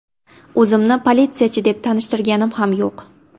O‘zimni politsiyachi deb tanishtirganim ham yo‘q.